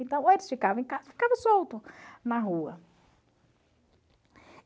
Então, ou eles ficavam em casa, ficavam soltos na rua.